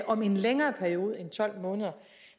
om en længere periode end tolv måneder